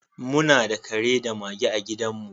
Muna da kare da mage a gidanmu.